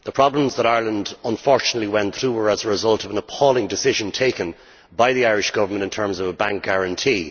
The problems that Ireland unfortunately went through were as a result of an appalling decision taken by the Irish Government in terms of a bank guarantee.